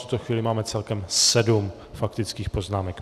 V tuto chvíli máme celkem sedm faktických poznámek.